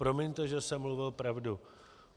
Promiňte, že jsem mluvil pravdu.